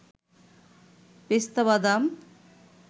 পেস্তা বাদাম